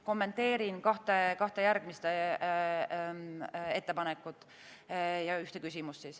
Kommenteerin kahte järgmist ettepanekut ja ühte küsimust.